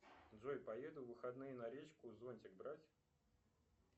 джой поеду в выходные на речку зонтик брать